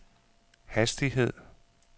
hastighed